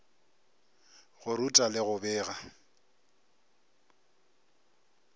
go ruta le go bega